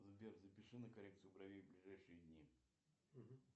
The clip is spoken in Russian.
сбер запиши на коррекцию бровей в ближайшие дни